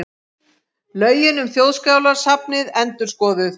Lögin um Þjóðskjalasafnið endurskoðuð